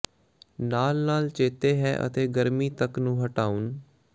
ਨਾਲ ਨਾਲ ਚੇਤੇ ਹੈ ਅਤੇ ਗਰਮੀ ਤੱਕ ਨੂੰ ਹਟਾਉਣ